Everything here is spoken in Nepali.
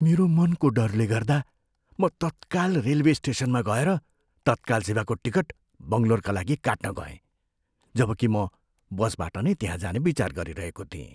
मेरो मनको डरले गर्दा, म तत्काल रेलवे स्टेसनमा गएर तत्काल सेवाको टिकट बङ्गलोरका लागि काट्न गएँ, जबकि म बसबाट नै त्यहाँ जाने विचार गरिरहेको थिएँ।